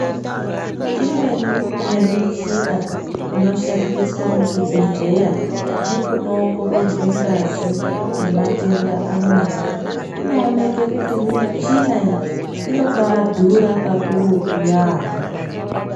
Imweni yemuchina inoshandiswa muzvibhedhlera nekuno ongororwa ngazi nematenda amweni inooneke kuti michina iyi anombai dhura kakurutu yambo.